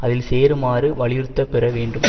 அதில் சேருமாறு வலியுறுத்த பெற வேண்டும்